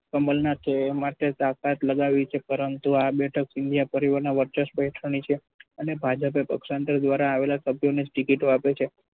કમલનાથે એ માટે તાકાત લગાવી છે પરંતુ આ બેઠકો ના વર્ચસ્વ હેઠળની છે અને ભાજપે દ્વારા આવેલા સભ્યોને જ ticket આપે છે.